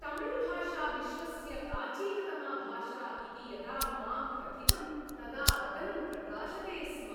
तमिळ्भाषा विश्वस्य प्राचीनतमा भाषा इति यदा माम् कथितम् तदा वदनं प्रकाशते स्म।